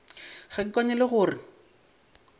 ga ke kwane le gore